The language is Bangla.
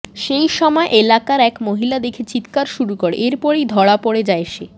সেই সময় এলাকার এক মহিলা দেখে চিৎকার শুরু করে এরপরেই ধরা পড়ে যায় সে